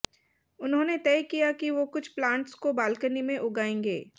उन्होंने तय किया कि वो कुछ प्लांट्स को बालकनी में उगाएंगे